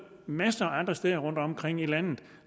masser af andre steder rundtomkring i landet